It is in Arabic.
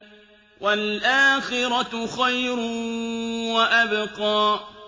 وَالْآخِرَةُ خَيْرٌ وَأَبْقَىٰ